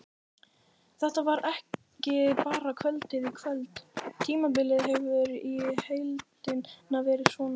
Þetta var ekki bara kvöldið í kvöld, tímabilið hefur í heildina verið svona.